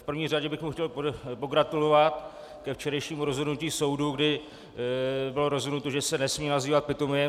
V první řadě bych mu chtěl pogratulovat ke včerejšímu rozhodnutí soudu, kdy bylo rozhodnuto, že se nesmí nazývat Pitomiem.